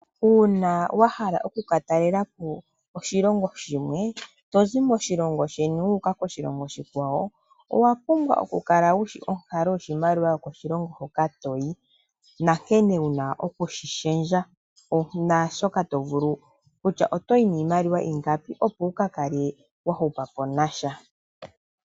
Uuna wahala okukatalepo oshilongo shomwe tozi moshilongo sheni wuuka koshilongo oshikwawo owapumbwa oku kala wushi onkalo yoshimaliwa yokoshilongo hoka toyi nankene wuna okushishendja kutya otoyi niimaliwa ingapi opo wukakale wahupapo nasha.